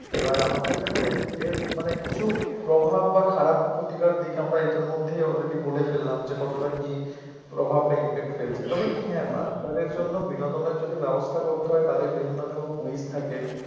এবার আমাদের দেখো এর এর মানে কিছু প্রভাব বা খারাপ ক্ষতিকর দিক আমার এটার মধ্যেই already বলে ফেললাম যে কতটা কি প্রভাব বা impact ফেলছে তবে কি হ্যাঁ বাচ্চাদের জন্য বিনোদন যদি ব্যবস্থা করতে হয় তাদের বিভিন্ন ধরনের quiz থাকে